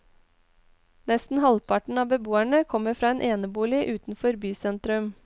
Nesten halvparten av beboerne kommer fra enebolig utenfor bysentrum.